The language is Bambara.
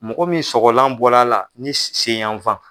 Mɔgɔ min sɔgɔlan bɔla la ni sen yan fan